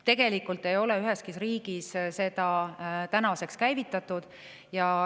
Tegelikult ei ole üheski riigis seda tänaseks käivitatud.